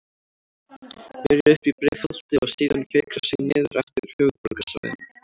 Byrja uppi í Breiðholti og síðan fikra sig niður eftir höfuðborgarsvæðinu.